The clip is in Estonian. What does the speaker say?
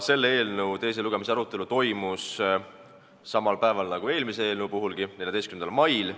Selle eelnõu teise lugemise arutelu toimus samal päeval nagu eelmise eelnõu arutelu, 14. mail.